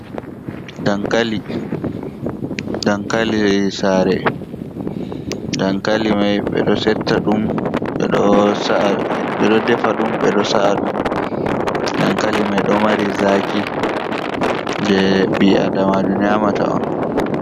Dankali, dankali sare, dankali mai ɓe ɗo setta d ɗum, ɓe ɗo defa ɗum, ɓe ɗo sa'a ɗum dankali mai ɗo mari zaki je ɓi adama jo nyamata on.